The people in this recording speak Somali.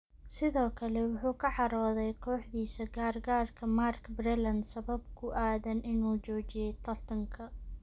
Sidoo kale wuu ka cadhoodey kooxiisa gargaarka Mark Breland sabab ku aadan in uu joojiyey tartankaa.